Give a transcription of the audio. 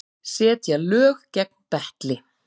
Setja lög gegn betli